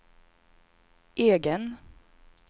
egen